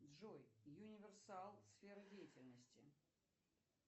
джой юниверсал сфера деятельности